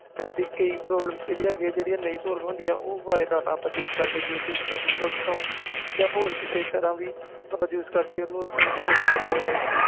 ਸਾਡੀਆ ਕਈ problem ਹੈ ਗਿਆ ਨੇ ਜੋ ਨਹੀਂ solve ਹੁੰਦੀਆਂ ਤੇ ਅਸੀਂ youtube ਤੇ ਜਾ google ਤੇ sarch ਕਰਕੇ ਹੋਰ ਕਿਸੇ ਤਰਾਂ ਵੀ ਕਰਕੇ data use ਕਰ ਸਕਦੇ ਆ